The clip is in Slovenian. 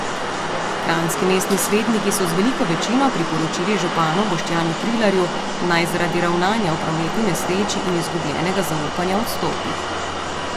Kranjski mestni svetniki so z veliko večino priporočili županu Boštjanu Trilarju, naj zaradi ravnanja v prometni nesreči in izgubljenega zaupanja odstopi.